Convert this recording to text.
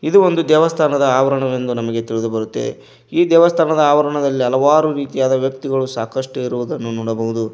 ಇದು ಒಂದು ದೇವಸ್ಥಾನದ ಆವರಣವೆಂದು ನಮಗೆ ತಿಳಿದು ಬರುತ್ತೆ ಈ ದೇವಸ್ಥಾನದ ಆವರಣದಲ್ಲಿ ಹಲವಾರು ರೀತಿಯಾದ ವ್ಯಕ್ತಿಗಳು ಸಾಕಷ್ಟು ಇರುವುದನ್ನು ನೋಡಬಹುದು.